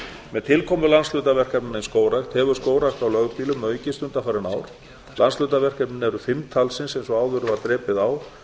með tilkomu landshlutaverkefna í skógrækt hefur skógrækt á lögbýlum aukist undanfarin ár landshlutaverkefnin eru fimm talsins eins og áður var drepið á